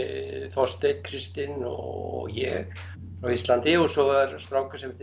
Þorsteinn Kristinn og ég frá Íslandi og svo var strákur sem heitir